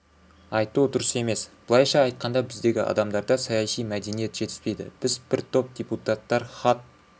айту дұрыс емес былайша айтқанда біздегі адамдарда саяси мәдениет жетіспейді біз бір топ депутаттар хат